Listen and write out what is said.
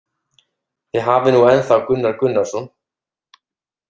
Þið hafið nú ennþá Gunnar Gunnarsson